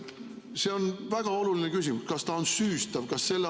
See on väga oluline küsimus: kas ta on süüstav?